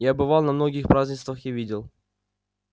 я бывал на многих празднествах и видел